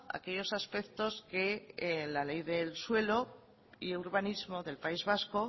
aquellos aspectos que la ley del suelo y urbanismo del país vasco